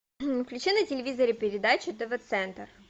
включи на телевизоре передачу тв центр